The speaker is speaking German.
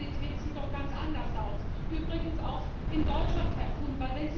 Aber die Realität sieht doch ganz anders aus übrigens auch in Deutschland, Herr Kuhn.